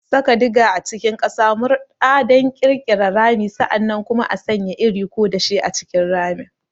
Saka diger a cikin ƙasa, murɗa don ƙirƙirar rami, sa'an nan kuma sanya iri ko dashe a cikin ramin.